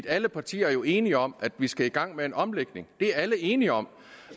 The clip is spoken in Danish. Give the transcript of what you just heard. alle partier er jo enige om at vi skal i gang med en omlægning det er alle enige om